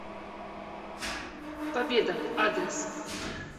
победа адрес